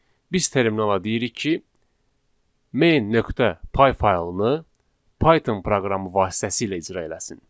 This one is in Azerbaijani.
biz terminala deyirik ki, main.py faylını Python proqramı vasitəsilə icra eləsin.